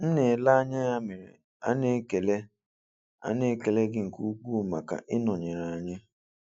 M na-ele anya ya mere, a na-ekele a na-ekele gị nke ukwuu maka ị nọnyere anyị.